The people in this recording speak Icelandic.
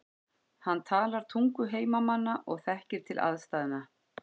Hann talar tungu heimamanna og þekkir til aðstæðna.